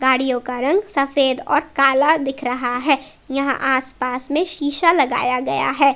गाड़ियों का रंग सफेद और काला दिख रहा है यहां आस पास में शीशा लगाया गया है।